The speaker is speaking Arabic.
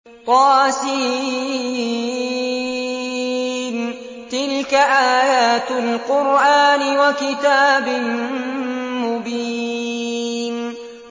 طس ۚ تِلْكَ آيَاتُ الْقُرْآنِ وَكِتَابٍ مُّبِينٍ